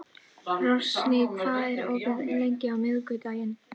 Rósný, hvað er opið lengi á miðvikudaginn?